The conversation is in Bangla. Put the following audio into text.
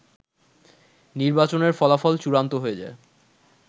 নির্বাচনের ফলাফল চূড়ান্ত হয়ে যায়